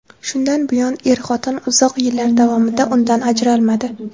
Shundan buyon er-xotin uzoq yillar davomida undan ajralmadi.